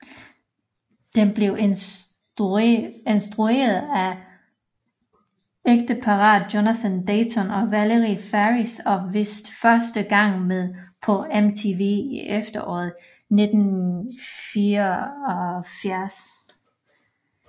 Den blev instrueret af ægteparret Jonathan Dayton og Valerie Faris og vist første gang på MTV i efteråret 1994